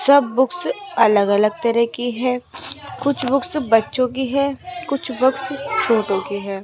सब बुक्स अलग-अलग तरह की है कुछ बुक्स बच्चों की है कुछ बुक्स छोटो की है।